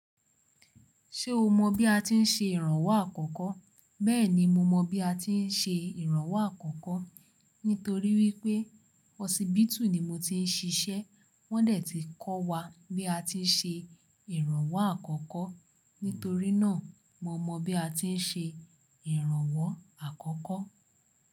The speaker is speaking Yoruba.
Ṣé o mọ bí a ti ń ṣe ìrànwọ́ àkọ́kọ́? Bẹ́ẹ̀ni, mo mọ bí a ti ń ṣe ìrànwọ́ àkọ́kọ́. Nítorí wípé Hospital ni mo ti ń ṣiṣẹ́. Wọ́n dẹ̀ ti ń kọ́ wa bí a ti ń ṣe ìrànwọ́ àkọ́kọ́. Nítorí náà, mo mọ bí a ti ń ṣe ìrànwọ́ àkọ́kọ́